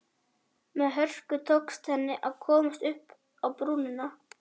Með hörku tókst henni að komast upp á brúnina.